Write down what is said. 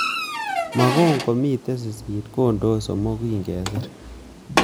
Mogon komitei sisit kondoe somok kingesir